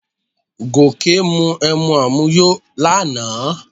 Gòkè mu emu àmuyó lánàá